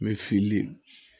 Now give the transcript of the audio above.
Mɛ fili